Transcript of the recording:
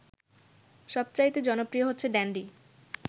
সবচাইতে জনপ্রিয় হচ্ছে ড্যান্ডি